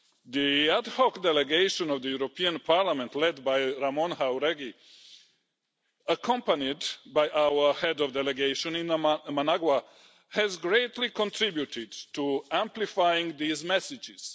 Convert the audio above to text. The ad hoc Delegation of the European Parliament, led by Ramón Jáuregui, accompanied by our head of delegation in Managua, has greatly contributed to amplifying these messages.